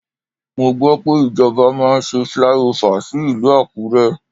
Mo gbọ́ pé ìjọba máa ṣe flyover sí ìlú Àkúré.